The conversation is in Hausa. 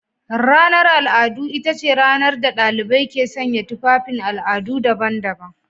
Ranar al'adu ita ce ranar da dalibai ke sanya tufafin al'adu daban-daban.